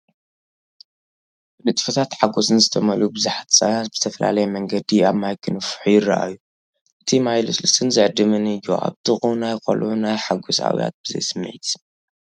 ብንጥፈትን ሓጎስን ዝተመልኡ ብዙሓት ህጻናት ብዝተፈላለየ መንገዲ ኣብ ማይ ክነፍሑ ይረኣዩ። እቲ ማይ ልስሉስን ዝዕድምን እዩ፤ ኣብ ጥቓኡ፡ ናይ ቈልዑ ናይ ሓጐስ ኣውያት ብዘይ ስምዒት ይስማዕ።